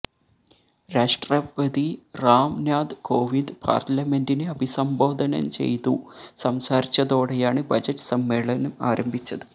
രാഷ്ട്രപതി റാം നാഥ് കോവിന്ദ് പാര്ലമെന്റിനെ അഭിസംബോധന ചെയ്തു സംസാരിച്ചതോടെയാണ് ബജറ്റ് സമ്മേളനം ആരംഭിച്ചത്